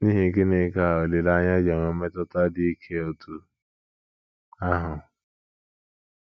N’ihi gịnị ka olileanya ji enwe mmetụta dị ike otú ahụ?